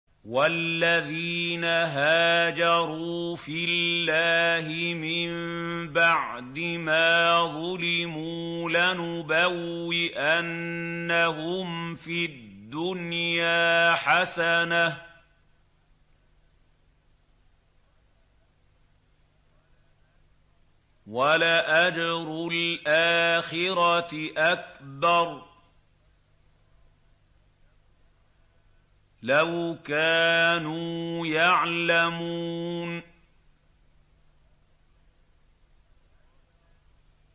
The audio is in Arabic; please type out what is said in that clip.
وَالَّذِينَ هَاجَرُوا فِي اللَّهِ مِن بَعْدِ مَا ظُلِمُوا لَنُبَوِّئَنَّهُمْ فِي الدُّنْيَا حَسَنَةً ۖ وَلَأَجْرُ الْآخِرَةِ أَكْبَرُ ۚ لَوْ كَانُوا يَعْلَمُونَ